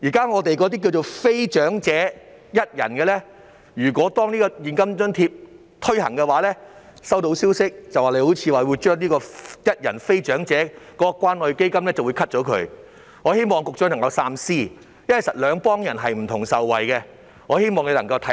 我收到消息，如果非長者一人申請者獲提供現金津貼，便會取消非長者一人申請者的關愛基金，我希望局長三思，因為受惠的其實是兩類人。